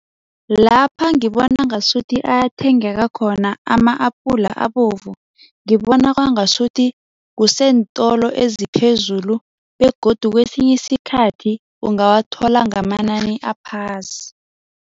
Lapha ngibona ngasuthi ayathengeka khona ama-apula abovu, ngibona kwangasuthi kuseentolo eziphezulu begodu kwesinye isikhathi ungawathola ngamanani aphasi.